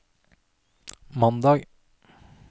mandag